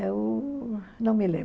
É o... não me lembro.